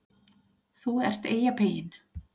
ÞÚ ERT EYJAPEYINN